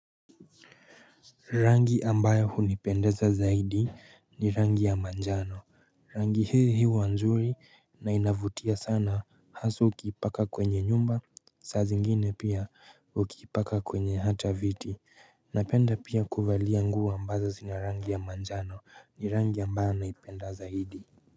Rangi ambayo hunipendeza zaidi ni rangi ya manjano. Rangi hii huwa nzuri na inavutia sana hasa ukiipaka kwenye nyumba, saa zingine pia ukiipaka kwenye hata viti. Napenda pia kuvalia nguo ambazo zina rangi ya manjano. Ni rangi ambayo naipenda zaidi.